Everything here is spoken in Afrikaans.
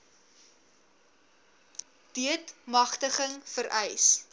deat magtiging vereis